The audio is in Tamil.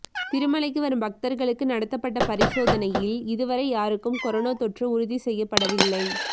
திருமலைக்கு வரும் பக்தா்களுக்கு நடத்தப்பட்ட பரிசோதனையில் இதுவரை யாருக்கும் கரோனா தொற்று உறுதி செய்யப்படவில்லை